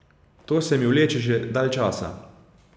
To se mi vleče že dalj časa.